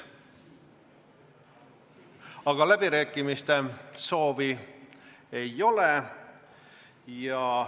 Aga läbirääkimiste soovi ei ole.